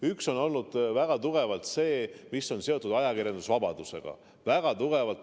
Üks on olnud väga tugevalt see, mis on seotud ajakirjandusvabadusega.